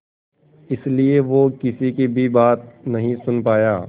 इसलिए वो किसी की भी बात नहीं सुन पाया